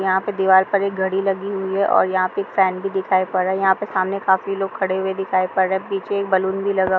यहाँ पर दीवार पर एक घड़ी लगी हुई है। यहाँ पर एक फेन भी दिखाई पर रहा है। यहाँ पर सामने काफी लोग खड़े हुए दिखाई पर रहे हैं। पीछे एक बैलून भी लगा--